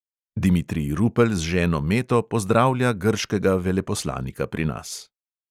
Dimitrij rupel z ženo meto pozdravlja grškega veleposlanika pri nas.